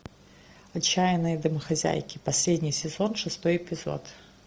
отчаянные домохозяйки последний сезон шестой эпизод